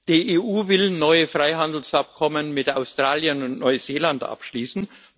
Die EU will neue Freihandelsabkommen mit Australien und Neuseeland abschließen.